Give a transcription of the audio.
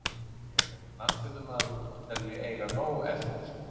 Ég er knattspyrnumaður og tel mig eiga nóg eftir.